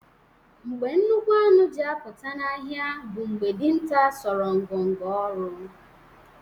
Mgbe nnukwu anụ ji apụta n’ọhịa bụ mgbe dinta sọrọ ngọngọ ọrụ